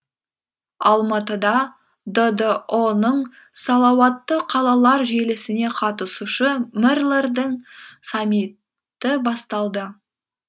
алматыда ддұ ның салауатты қалалар желісіне қатысушы мэрлердің саммиті басталды